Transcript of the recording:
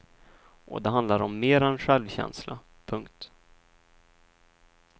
Och det handlar om mer än självkänsla. punkt